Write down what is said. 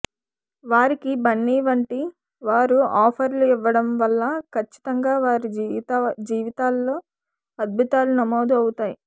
వారికి బన్నీ వంటి వారు ఆఫర్లు ఇవ్వడం వల్ల ఖచ్చితంగా వారి జీవితాల్లో అద్బుతాలు నమోదు అవుతాయి